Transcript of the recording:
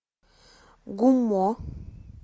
гуммо